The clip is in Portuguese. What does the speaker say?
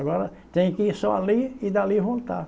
Agora tem que ir só ali e dali voltar.